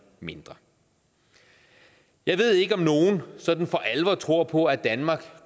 mindre jeg ved ikke om nogen sådan for alvor tror på at danmark